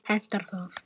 Hentar það?